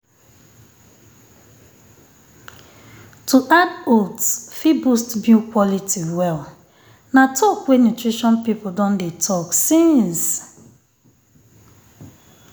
to add oats fit boost milk quality well. na talk wey nutrition people don dey talk since